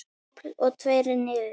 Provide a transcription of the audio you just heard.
Dobl og tveir niður.